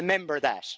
Remember that.